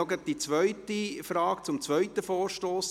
Ich diese Frage noch zum zweiten Vorstoss.